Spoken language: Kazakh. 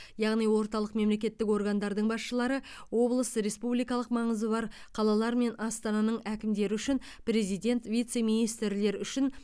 яғни орталық мемлекеттік органдардың басшылары облыс республикалық маңызы бар қалалар мен астананың әкімдері үшін президент вице министрлер үшін